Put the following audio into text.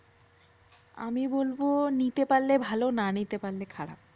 আমি বলবো নিতে পারলে ভালো না নিতে পারলে খারাপ।